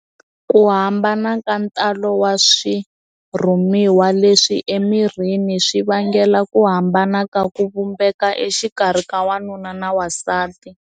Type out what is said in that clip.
Ku hambana ka ntalo wa swirhumiwa leswi emirini, swi vangela ku hambana ka ku vumbeka exikarhi ka wanuna na n'wansati.